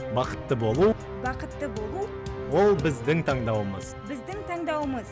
бақытты болу бақытты болу ол біздің таңдауымыз біздің таңдауымыз